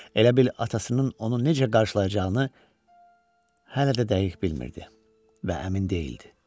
Elə bil atasının onu necə qarşılayacağını hələ də dəqiq bilmirdi və əmin deyildi.